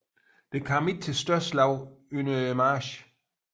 Det kom ikke til større slag under marchen